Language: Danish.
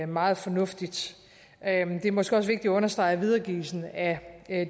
meget fornuftigt det er måske også vigtigt at understrege at videregivelsen af